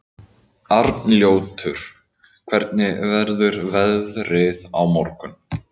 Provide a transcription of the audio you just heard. Arnljótur, hvernig verður veðrið á morgun?